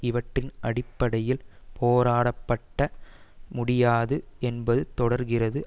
இவற்றின் அடிப்படையில் போராடப்பட்ட முடியாது என்பது தொடர்கிறது